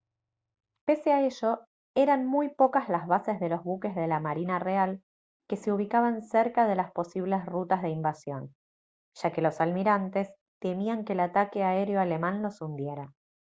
pese a ello eran muy pocas las bases de los buques de la marina real que se ubicaban cerca de las posibles rutas de invasión ya que los almirantes temían que el ataque aéreo alemán los hundiera